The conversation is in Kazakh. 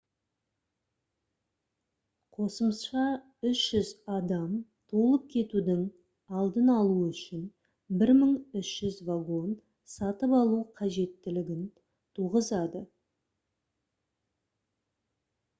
қосымша 300 адам толып кетудің алдын алу үшін 1300 вагон сатып алу қажеттілігін туғызады